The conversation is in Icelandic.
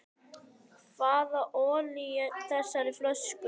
Hvað olli þessari fólsku?